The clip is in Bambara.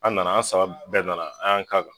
An nana an saba bɛɛ nana an y'an ka kan